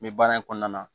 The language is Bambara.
N bɛ baara in kɔnɔna na